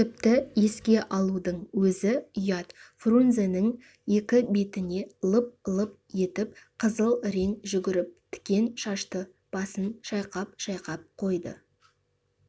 тіпті еске алудың өзі ұят фрунзенің екі бетіне лып-лып етіп қызыл рең жүгіріп тікен шашты басын шайқап-шайқап қойды